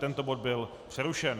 Tento bod byl přerušen.